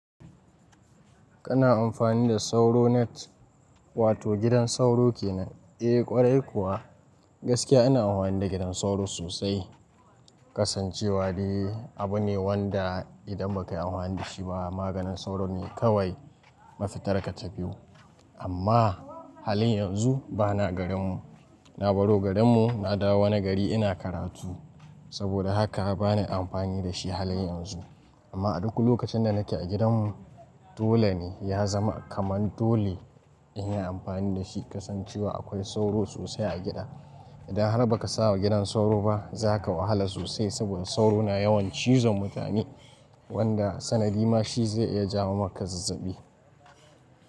Kana amfani da sauro net, wato gidan sauro kenan? Eh kwarai kuwa, gaskiya ina anhwani da gidan sauro sosai. Kasancewa dai abu ne wanda idan ba ka yi amfani da shi ba maganin sauro ne kawai mafitar ka ta biyu. Amma halin yanzu bana garin mu. Na baro garin mu na dawo wani gari ina karatu. Saboda haka bani amfani da shi halin yanzu. Amma a duk lokacin da nake a gidan mu dole ne ya zama kaman dole in yi amfani da shi. Kasancewa akwai sauro sosai a gida. Idan har ba ka sa wa gidan sauro ba za ka wahala sosai saboda sauro na yawan cizon mutane wanda sanadi ma shi zai iya jawo maka zazzabi.